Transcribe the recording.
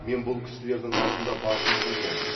мен бұл кісілердің алдында басымды иемін